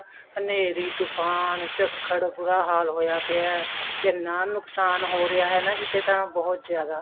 ਹਨੇਰੀ ਤੁਫਾਨ ਝੱਖੜ ਬੁਰਾ ਹਾਲ ਹੋਇਆ ਪਿਆ ਕਿੰਨਾ ਨੁਕਸਾਨ ਹੋ ਰਿਹਾ ਕਿਤੇ ਤਾਂ ਬਹੁਤ ਜ਼ਿਆਦਾ